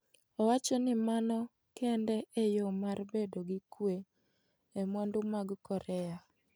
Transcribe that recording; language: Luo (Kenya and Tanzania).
Owacho ni mano kende e yo mar bedo gi kwe e mwandu mag Korea.